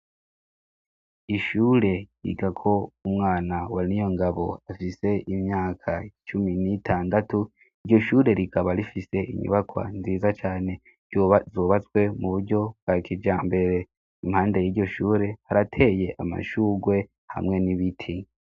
Ishure iga ko umwana wa Niyongabo afise imyaka cumi n'itandatu iryo shure rikaba rifise inyubakwa nziza cane zubatswe mu buryo bwa kija mbere impande y'iyoshure harateye amashugwe hamwe n'ibiti.